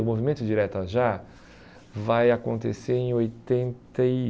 O Movimento Diretas Já vai acontecer em oitenta e